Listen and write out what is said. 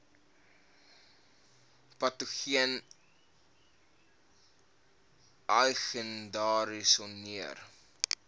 patogene ai gediagnoseer